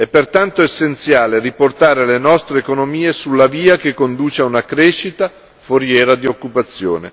È pertanto essenziale riportare le nostre economie sulla via che conduce a una crescita foriera di occupazione.